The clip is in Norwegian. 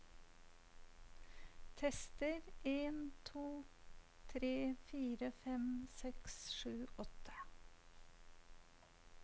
Tester en to tre fire fem seks sju åtte